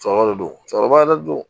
Cɛkɔrɔba de do cɛkɔrɔba yɛrɛ de do